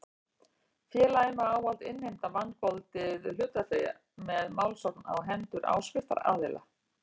Félagið má ávallt innheimta vangoldið hlutafé með málsókn á hendur áskriftaraðila.